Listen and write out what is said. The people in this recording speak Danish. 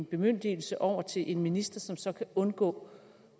bemyndigelse over til en minister som så kan undgå